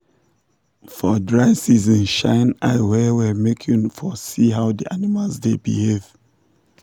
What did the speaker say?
for dry season shine eye well well make you for see how the animals dey behave.